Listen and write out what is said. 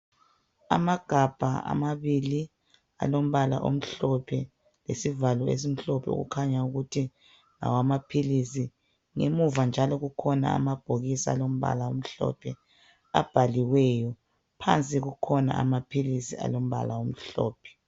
amagabha ambili alompala omuhlophe isivalo esimhlophe okukhanya ukuthi ngowamaphilisi ngemuva njalo akhona amabhokisi alombala omhlophe abhaliweyo phansi kukhona amaphilisi alompala omhlophe